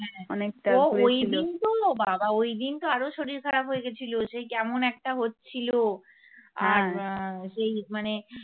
ওই দিন তো বাবা ওই দিন তো আরো শরীর খারাপ হয়ে গেছিল সেই কেমন একটা হচ্ছিল সেই মানে।